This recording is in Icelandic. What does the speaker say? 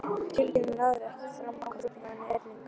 Tillagan náði ekki fram að ganga flutningsmanninum, Erlingi